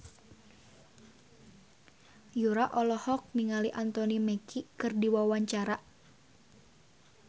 Yura olohok ningali Anthony Mackie keur diwawancara